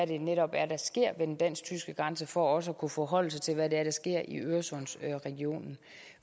det netop er der sker ved den dansk tyske grænse for også at kunne forholde sig til hvad det er der sker i øresundsregionen